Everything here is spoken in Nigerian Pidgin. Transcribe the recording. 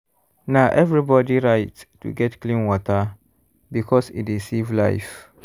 na everybody right to get clean water because e dey save life.